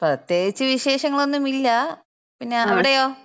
പ്രത്യേകിച്ച് വിശേഷങ്ങളൊന്നുമില്ലാ. പിന്ന അവിടെയോ?